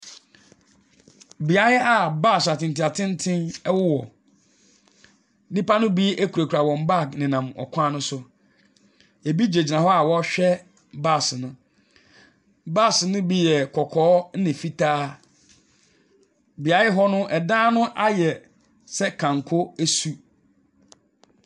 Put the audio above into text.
Beaeɛ a bus atenten atenten wowɔ. Nnipa no bi kurakura wɔn bag nenan ɔkwan no so. Ɛbi gyinagyina hɔ a wɔrehwɛ bus no. Bus no bi yɛ kɔkɔɔ, ɛna fitaa. Beaeɛ hɔ no, ɛdan no ayɛ sɛ kanko su.